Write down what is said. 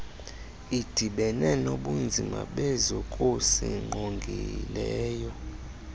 idibene nobunzima bezokusingqongileyo